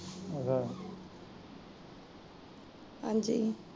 ਹਾਂਜੀ